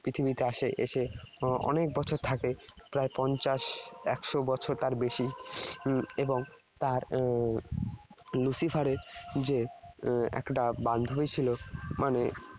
পৃথিবীতে আসে। এসে অনেক বছর থাকে। প্রায় পঞ্চাশ একশো বছর তার বেশি উম এবং তার এর Lucifer এর যে এর একটা বান্ধবী ছিল মানে